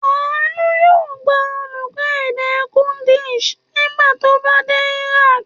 Àánú yóò gba olùkọ́ èdè Kurdish nígbà tó bá dé Iraq.